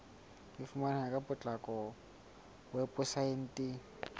e fumaneha ka potlako weposaeteng